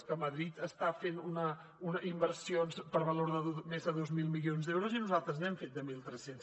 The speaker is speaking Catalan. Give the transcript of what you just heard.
és que madrid està fent inversions per valor de més de dos mil milions d’euros i nosaltres n’hem fet de mil tres cents